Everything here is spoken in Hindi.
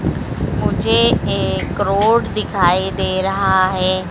मुझे एक रोड़ दिखाई दे रहा है।